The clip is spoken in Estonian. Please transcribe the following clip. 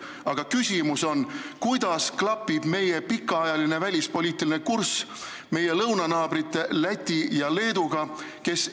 Aga küsimus on: kuidas klapib meie pikaajaline välispoliitiline kurss meie lõunanaabrite Läti ja Leedu omaga?